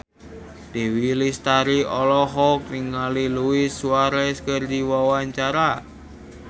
Dewi Lestari olohok ningali Luis Suarez keur diwawancara